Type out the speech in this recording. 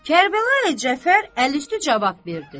Kərbəlayı Cəfər əl üstü cavab verdi.